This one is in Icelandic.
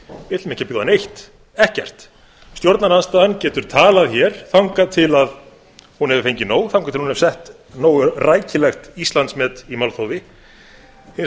við ætlum ekki að bjóða neitt ekkert stjórnarandstaðan getur talað hér þangað til hún hefur fengið nóg þangað til hún hefur sett nógu rækilegt íslandsmet í málþófi hins